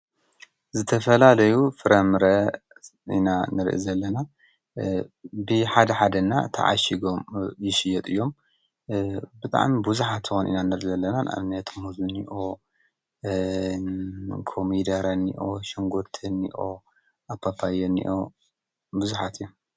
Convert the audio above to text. ዝተፈላለዩ ፍረምረ ኢና ንርኢ ዘለና ብሓደ ሓደ ና ተአሺጎም ይሽወጡ እዮም:: ብጣዕሚ ብዙሓት ኢና ንርኢ ዘለና ንኣብነት ኮሚደረ እኒኦ ሽንጉርቲ እኒኦ ፓፓየ እኒኦ ብዙሓት እዮም ።